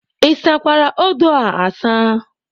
Ịsakwara odo a asa?